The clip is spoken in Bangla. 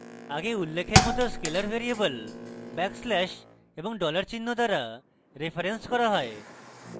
আগে উল্লেখের মত scalar ভ্যারিয়েবল ব্যাকস্ল্যাশ এবং dollar চিহ্ন দ্বারা referenced করা হয়